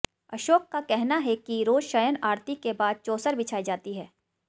अशोक का कहना है कि रोज शयन आरती के बाद चौसर बिछाई जाती है